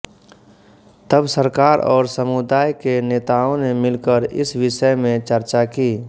तब सरकार और समुदाय के नेताओं ने मिलकर इस विषय में चर्चा की